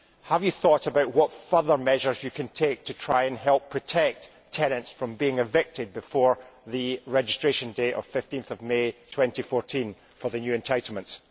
Have you thought about what further measures you can take to try and help protect tenants from being evicted before the registration day of 15 May 2014 for the new entitlements?